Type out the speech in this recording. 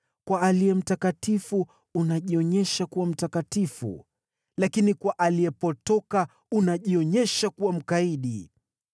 kwa aliye mtakatifu unajionyesha kuwa mtakatifu, lakini kwa aliyepotoka unajionyesha kuwa mkaidi.